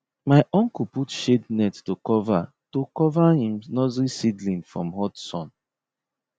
my uncle put shade net to cover to cover him nursery seedling from hot sun